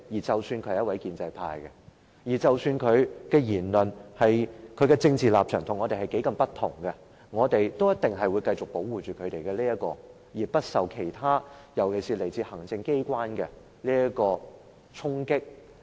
即使他是一位建制派議員，即使他的言論、政治立場與我們很不同，我們都一定會繼續保護他不受衝擊，尤其是來自行政機關的衝擊。